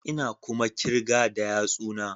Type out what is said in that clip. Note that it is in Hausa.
Ina kuma kirga da yatsuna